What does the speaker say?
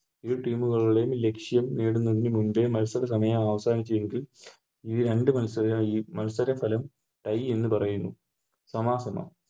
ഇരു Team ലുള്ളവരും ലക്ഷ്യം നേടുന്നതിനു മുന്നേ മത്സര സമയം അവസാനിച്ചിരിക്കും ഈ രണ്ട് മത്സര മത്സര ഫലം Tie എന്ന് പറയുന്നു സമാ സമം